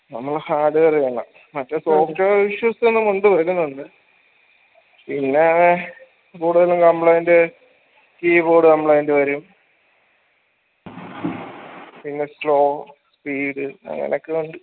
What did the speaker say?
നമ്മളെ hardware ഇതാണല്ല മറ്റേ software issues പിന്നേ കൂടുതലും complaint keyboard complaint വരും പിന്നെ slow speed അങ്ങനെക്കള്ളണ്ട്